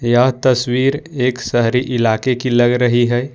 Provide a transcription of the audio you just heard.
यह तस्वीर एक शहरी इलाके की लग रही है।